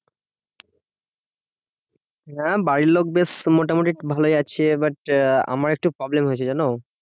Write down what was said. হ্যাঁ বাড়ির লোক বেশ তো মোটামুটি ভালোই আছে। এবার আহ আমার একটু problem হয়েছে জানো?